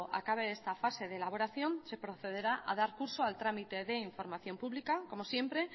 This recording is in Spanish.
acabe esta fase de elaboración se procederá a dar curso al tramite de información pública como siempre